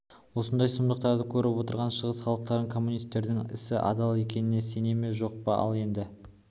осындай сұмдықтарды көріп отырған шығыс халықтары коммунистердің ісі адал екеніне сене ме жоқ па ал енді